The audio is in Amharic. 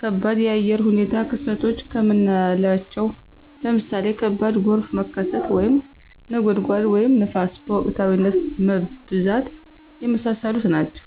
ከባድ የአየር ሁኔታ ክስተቶች ከምናለቸው ለምሳሌ ከባድ ጎርፍ መከሰት፣ (ነጎድጓድ) ወይም ንፋስ በወቅታዊነት መብዛት። የመሳሰሉት ናቸው።